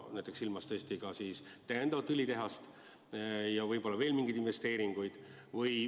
Ma pean silmas näiteks täiendavat õlitehast ja võib-olla veel mingeid investeeringuid.